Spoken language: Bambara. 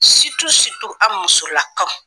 an musola kaw.